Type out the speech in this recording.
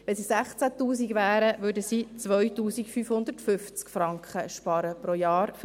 Wenn es 16 000 Franken wären, würden sie mit einem Kind 2550 Franken pro Jahr sparen.